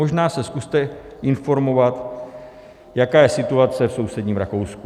Možná se zkuste informovat, jaká je situace v sousedním Rakousku.